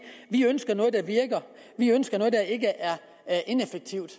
vi ønsker noget der virker vi ønsker noget der ikke er ineffektivt